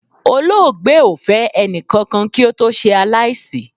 Olóògbé o fẹ ẹnikakan ki ó to se alaisi